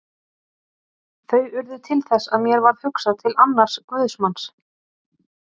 Þau urðu til þess að mér varð hugsað til annars guðsmanns.